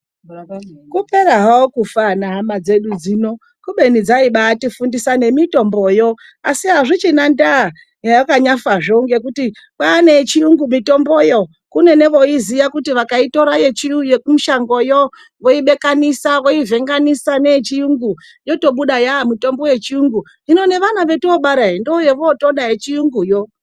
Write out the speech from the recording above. Kupera hadzo kufa hama dzedu dziino. Kubeni dzaitifundisa zvemitombo. Asi hazvisina ndaa chero vakangofa ngekuti kwane yechiyungu mitomboyo. Kune vanoziva kuti vakatora neyekushango voibekanisa, voihenganisa, yotobuda yayechiyungu. Zvino nevana vetobara, ndoyovotoda yechiyunguyo.